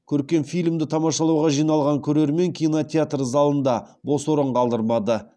көркем фильмді тамашалауға жиналған көрермен кинотеатр залында бос орын қалдырмады